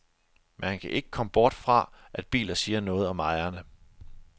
Man kan ikke komme bort fra, at biler siger noget om ejerne.